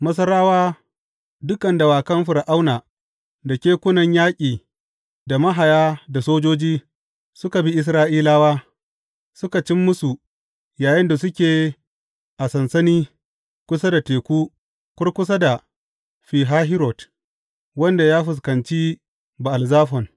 Masarawa, dukan dawakan Fir’auna da kekunan yaƙi da mahaya da sojoji, suka bi Isra’ilawa suka cin musu yayinda suke a sansani kusa da teku kurkusa da Fi Hahirot, wanda ya fuskanci Ba’al Zafon.